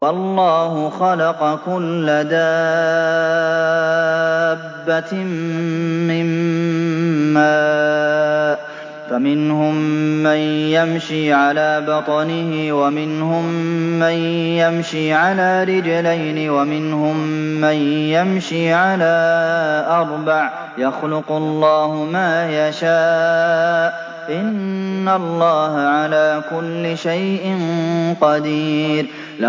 وَاللَّهُ خَلَقَ كُلَّ دَابَّةٍ مِّن مَّاءٍ ۖ فَمِنْهُم مَّن يَمْشِي عَلَىٰ بَطْنِهِ وَمِنْهُم مَّن يَمْشِي عَلَىٰ رِجْلَيْنِ وَمِنْهُم مَّن يَمْشِي عَلَىٰ أَرْبَعٍ ۚ يَخْلُقُ اللَّهُ مَا يَشَاءُ ۚ إِنَّ اللَّهَ عَلَىٰ كُلِّ شَيْءٍ قَدِيرٌ